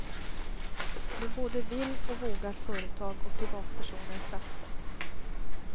Nu både vill och vågar företag och privatpersoner satsa.